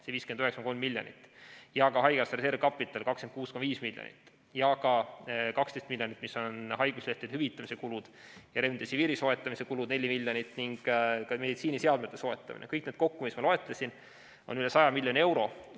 See 59,3 miljonit, ka haigekassa reservkapital 26,5 miljonit ja ka 12 miljonit, mis on haiguslehtede hüvitamise kulud, remdesiviiri soetamise kulud 4 miljonit ning meditsiiniseadmete soetamise kulud, kõik need kokku, mis ma loetlesin, on üle 100 miljoni euro.